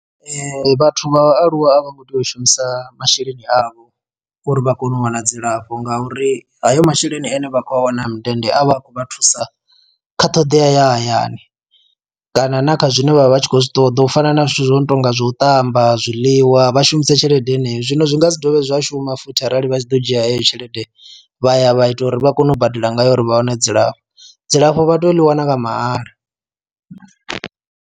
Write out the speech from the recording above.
Ee vhathu vha vhaaluwa a vho ngo tea u shumisa masheleni avho uri vha kone u wana dzilafho ngauri hayo masheleni ane vha khou a wana mindende avhe a khou vha thusa kha ṱhoḓea ya hayani kana na kha zwine vhavha vha tshi khou zwi ṱoḓa u fana na zwithu zwo no tonga zwa u ṱamba zwiḽiwa vha shumise tshelede heneyo zwino zwi nga dzi dovhe zwashuma futhi arali vha tshi ḓo dzhia heyo tshelede vha ya vha ita uri vha kone u badela ngayo uri vha wane dzilafho, dzilafho vha tea u ḽi wana nga mahala.